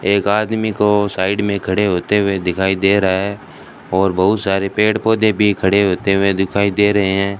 एक आदमी को साइड में खड़े होते हुए दिखाई दे रहा है और बहुत सारे पेड़ पौधे भी खड़े होते हुए दिखाई दे रहे हैं।